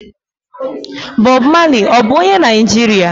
Bob Maley ọ bu onye Naijiria?